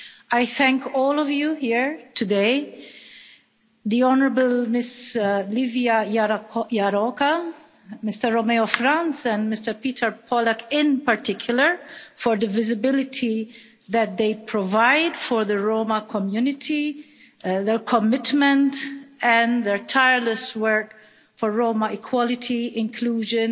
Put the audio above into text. I thank all of you here today, and the honourable Ms Lívia Járóka, Mr Romeo Franz and Mr Peter Pollák in particular, for the visibility that they provide for the Roma community, their commitment and their tireless work for Roma equality, inclusion